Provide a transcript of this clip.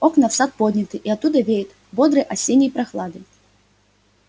окна в сад подняты и оттуда веет бодрой осенней прохладой